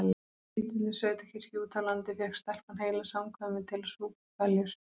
Í lítilli sveitakirkju úti á landi fékk stelpan heila samkvæmið til að súpa hveljur.